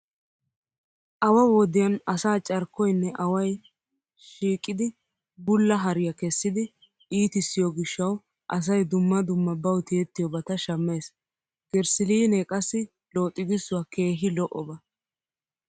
Awa wodiyan asaa carkkoynne away shiiqidi bullaa hariya kessidi iitissiyo gishshawu asay dumma dumma bawu tiyettiyobata shammees. Girssiliinee qassi looxigissiua keehi lo'oba.